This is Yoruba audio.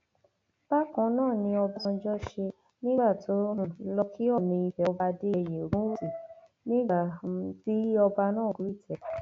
bákan náà ni ọbánganjò ṣe nígbà tó um lọọ kí ọọnì ìfẹ ọba adéyẹyẹ ògúnwúsì nígbà um tí ọba náà gorí ìtẹ